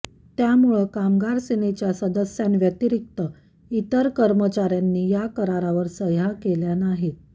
त्यामुळं कामगार सेनेच्या सदस्यांव्यतिरिक्त इतर कर्मचाऱ्यांनी या करारावर सह्या केलेल्या नाहीत